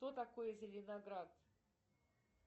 что такое зеленоград